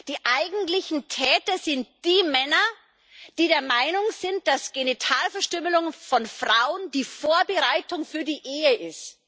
Die eigentlichen Täter sind die Männer, die der Meinung sind, dass Genitalverstümmelung von Frauen die Vorbereitung für die Ehe ist.